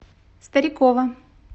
старикова